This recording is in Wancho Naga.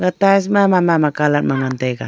e tiles mama mama colour ma ngan taiga.